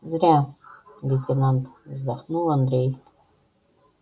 зря лейтенант вздохнул андрей